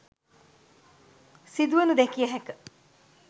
සිදුවනු දැකිය හැක.